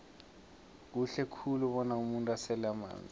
kuhle khulu bona umuntu asele amanzi